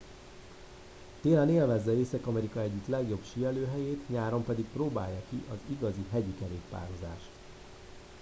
télen élvezze észak amerika egyik legjobb síelőhelyét nyáron pedig próbálja ki az igazi hegyi kerékpározást